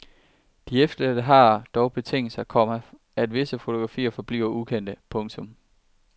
De efterladte har dog betinget sig, komma at visse fotografier forbliver ukendte. punktum